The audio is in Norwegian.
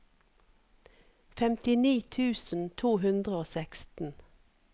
femtini tusen to hundre og seksten